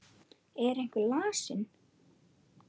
Er einhver lasinn?